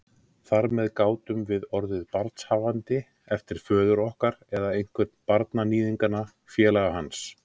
Þar með gátum við orðið barnshafandi eftir föður okkar eða einhvern barnaníðinganna, félaga hans.